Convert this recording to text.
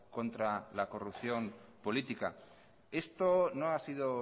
contra la corrupción política esto no ha sido